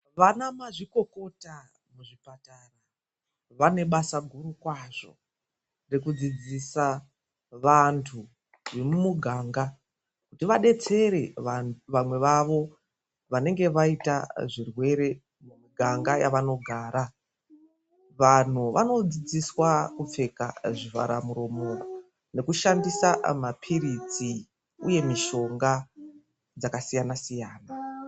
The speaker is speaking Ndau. Vanamazvikokota muzvibhehlera, vanemushando mukurutu rekufundisa vantu vemumuganga kuti vadetsere vamweni vavo vanenge vaita zvitenda mimuganga yavanogara. Vantu vanofundiswa kupfeka zvivhara muromo nokushandisa mapiritsi uye mitombo dzakasiyana-siyana.